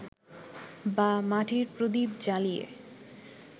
বা মাটির প্রদীপ জ্বালিয়ে